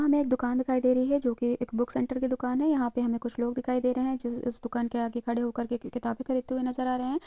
हमें एक दुकान दिखाई दे रही है जो की बुक सेंटर दुकान है यहाँ पे हमे कुछ लोग दिखाई दें रहे है जो इस दुकान के आगे खड़े हो कर के कि किताबें खरीदते हुए नजर आ रहे हैं।